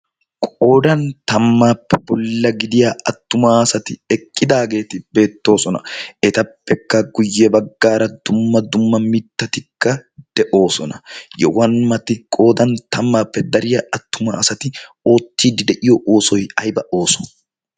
qoodan tammaappe bolla gidiya attuma asati eqqidaageeti beettoosona etappekka guyye baggaara dumma dumma mittatikka de'oosona. yowanmati qodan tammaappe dariya attuma asati oottiiddi de'iyo ooso' ayba de'oosona.